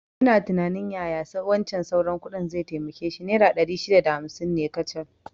Ina tunanin yaya wancan sauran kuɗin zai taimake shi, naira ɗari shida da hamsin ne kacal